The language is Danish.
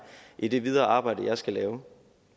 i det videre arbejde jeg skal lave